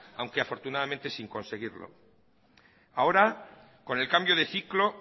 aunque afortunadamente sin conseguirlo ahora con el cambio de ciclo